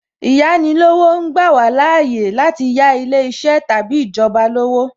Īyáni lówó, ó ń gbà wá láàyè láti yà ilé iṣẹ́ tàbí ìjọba lówó